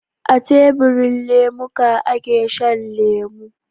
A tebirin lemuka ake Shan lemo